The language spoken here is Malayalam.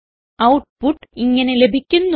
ഔട്ട്പുട്ട് ഇങ്ങനെ ലഭിക്കുന്നു